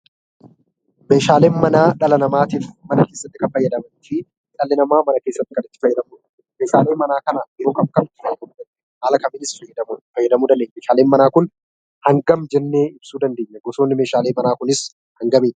Meeshaaleen manaa dhala namaatiif mana keessatti kan fayyadaniifi dhalli namaa mana keessatti kan itti fayyadamudha. Meeshaalee manaa kana yeroo kam kam itti fayyadamna? Haala kamiinis itti fayyadamu dandeenya? Meeshaaleen manaa kun hangam jennee ibsuu dandeenya? Gosoonni meeshaalee manaa kunis hangamidha?